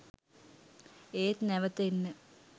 ඒත් නැවත එන්න